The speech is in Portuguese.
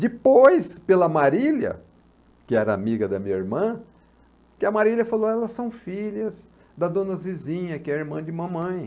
Depois, pela Marília, que era amiga da minha irmã, que a Marília falou, elas são filhas da dona Zizinha, que é irmã de mamãe.